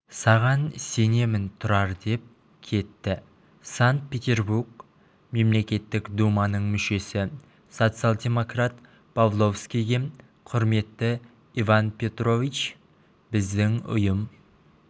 саған сенемін тұрар деп кетті санкт-петербург мемлекеттік думаның мүшесі социал-демократ павловскийге құрметті иван петрович біздің ұйым